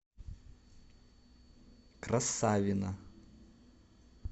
красавино